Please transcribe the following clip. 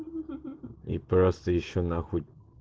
и просто ещё на хуй